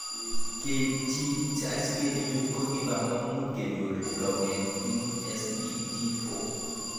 Keitchi asikichuchuch ko ki pambamut kenyor longet ing SDG4.